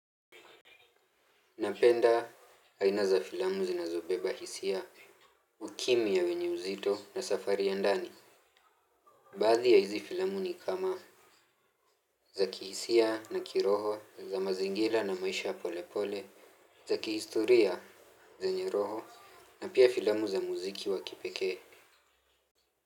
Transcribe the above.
Napenda aina za filamu zinazobeba hisia, ukimya wenye uzito na safari ya ndani. Baadhi ya hizi filamu ni kama za kihisia na kiroho, za mazingira na maisha ya polepole, za kihistoria zenye roho na pia filamu za muziki wa kipeke.